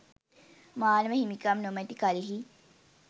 මානව හිමිකම් නොමැති කල්හි